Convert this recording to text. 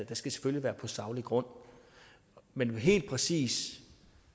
det skal selvfølgelig være på saglig grund men lige præcis